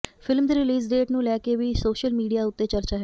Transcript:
film ਦੀ release date ਨੂੰ ਲੈ ਕੇ ਵੀ ਸੋਸ਼ਲ ਮੀਡੀਆ ਉੱਤੇ ਚਰਚਾ ਹੈ